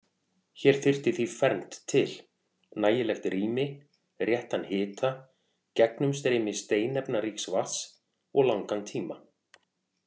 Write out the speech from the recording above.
Hér þurfti því fernt til: nægilegt rými, réttan hita, gegnumstreymi steinefnaríks vatns, og langan tíma.